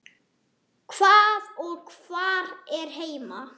Hvað og hvar er heima?